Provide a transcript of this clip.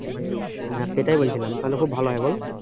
হ্যাঁ সেটাই বলছিলাম তাহলে খুব ভালো হয় বল?